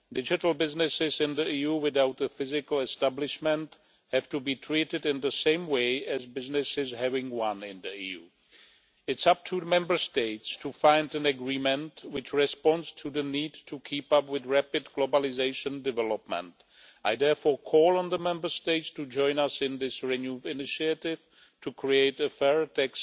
Digital businesses in the EU without a physical establishment have to be treated in the same way as businesses having one in the EU. It is up to the Member States to find an agreement which responds to the need to keep up with rapid globalisation development. I therefore call on the Member States to join us in this renewed initiative to create a fairer tax